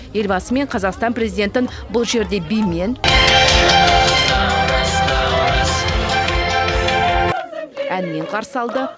елбасы мен қазақстан президентін бұл жерде бимен наурыз наурыз әнмен қарсы алды